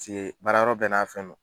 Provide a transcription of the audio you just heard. baara yɔrɔ bɛɛ n'a fɛn no.